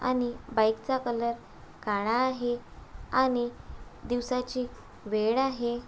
आणि बाइक चा कलर काला आहे आणि दिवसाची वेळ आहे.